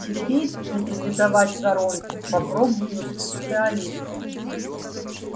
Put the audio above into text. теперь нейтрализовать воронку попробуют специалисты